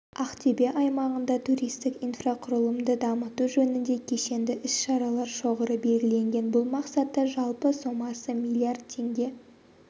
ақтөбе аймағында туристік инфрақұрылымды дамыту жөнінде кешенді іс-шаралар шоғыры белгіленген бұл мақсатта жалпы сомасы миллиард теңге